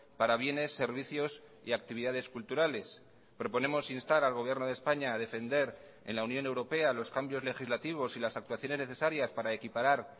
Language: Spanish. para bienes servicios y actividades culturales proponemos instar al gobierno de españa a defender en la unión europea los cambios legislativos y las actuaciones necesarias para equiparar